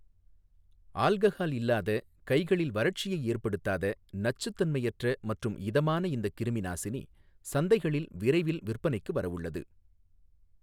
Alcohol இல்லாத, கைகளில் வறட்சியை ஏற்படுத்தாத, நச்சுத்தன்மையற்ற மற்றும் இதமான இந்த கிருமிநாசினி சந்தைகளில் விரைவில் விற்பனைக்கு வரவுள்ளது.